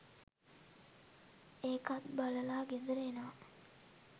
ඒකත් බලලා ගෙදර එනවා